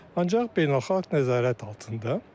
Ancaq beynəlxalq nəzarət altında.